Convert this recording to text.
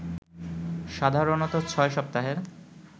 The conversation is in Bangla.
সাধারণত ৬ সপ্তাহের